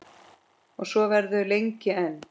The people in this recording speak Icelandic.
Og svo verður lengi enn.